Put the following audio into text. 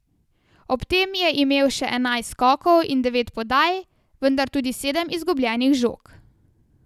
Ob tem je imel še enajst skokov in devet podaj, vendar tudi sedem izgubljenih žog.